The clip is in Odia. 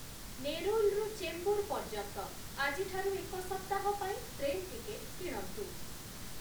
ନେରୁଲ୍‌ରୁ ଚେମ୍ବୁର ପର୍ଯ୍ୟନ୍ତ ଆଜିଠାରୁ ଏକ ସପ୍ତାହ ପାଇଁ ଟ୍ରେନ୍ ଟିକେଟ୍ କିଣନ୍ତୁ